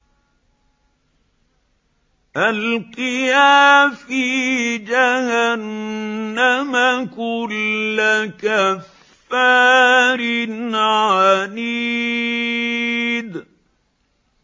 أَلْقِيَا فِي جَهَنَّمَ كُلَّ كَفَّارٍ عَنِيدٍ